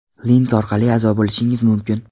Link orqali a’zo bo‘lishingiz mumkin.